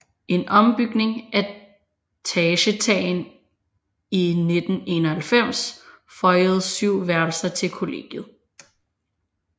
En ombygning af tagetagen i 1991 føjede syv værelser til kollegiet